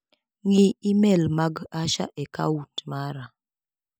Ng'i imel mag Asha e kaunt mara.